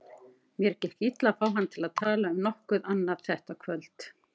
Mér gekk illa að fá hann til að tala um nokkuð annað þetta kvöld.